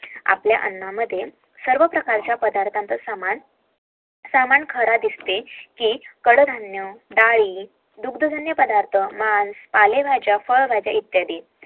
आपल्या अन्न मध्ये सर्व प्रकारच्या अन्नाचा समान असते दुध पालेभाज्या इत्यादि